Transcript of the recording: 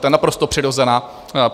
To je naprosto přirozená věc.